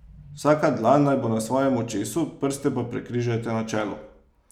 Vsaka dlan naj bo na svojem očesu, prste pa prekrižajte na čelu.